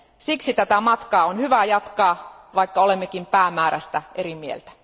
Siksi tätä matkaa on hyvä jatkaa, vaikka olemmekin päämäärästä eri mieltä.